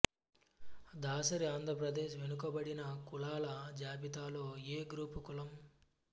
దాసరి ఆంధ్ర ప్రదేశ్ వెనుకబడిన కులాల జాబితా లో ఏ గ్రూపు కులం